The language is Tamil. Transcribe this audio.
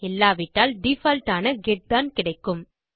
இல்லாவிட்டால் டிஃபால்ட் ஆன கெட் தான் கிடைக்கும்